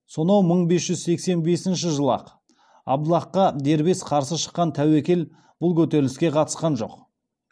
сонау мың бес жүз сексен бесінші жылы ақ абдаллахқа дербес қарсы шыққан тәуекел бұл көтеріліске қатысқан жоқ